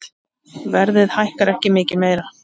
Verðið hækkar ekki mikið meira.